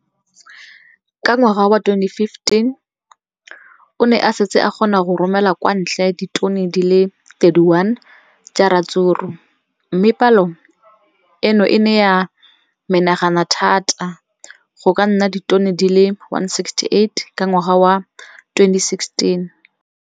Ka ngwaga wa 2015, o ne a setse a kgona go romela kwa ntle ditone di le 31 tsa ratsuru mme palo eno e ne ya menagana thata go ka nna ditone di le 168 ka ngwaga wa 2016.